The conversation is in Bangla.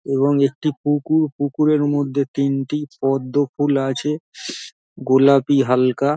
এবং একটি পুকুরপুকুরের মধ্যে তিনটি পদ্ম ফুল আছে গোলাপি হালকা |